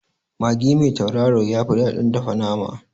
Magi mai tauraro yafi daɗin dafa nama